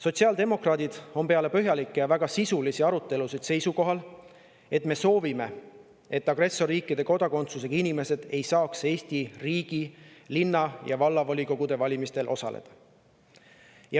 Sotsiaaldemokraadid on peale põhjalikke ja väga sisulisi arutelusid jõudnud seisukohale, et me soovime, et agressorriikide kodakondsusega inimesed ei saaks Eestis ega linna‑ ja vallavolikogude valimistel osaleda.